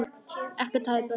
Ekkert hafði bæst við.